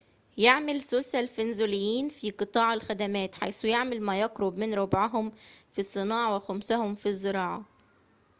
يعمل ثلثا الفنزويليين في قطاع الخدمات حيث يعمل ما يقرب من ربعهم في الصناعة وخمسهم في الزراعة